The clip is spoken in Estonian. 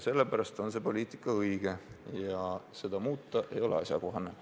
Sellepärast on see poliitika õige ja seda muuta ei ole asjakohane.